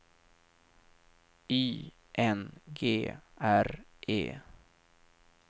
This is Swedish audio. Y N G R E